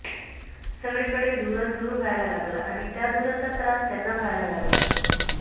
सगळीकडे धूरच धूर व्हायला लागला आणि त्या धुराचा त्रास त्यांना व्हायला लागला